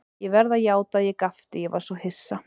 Ég verð að játa að ég gapti, ég var svo hissa.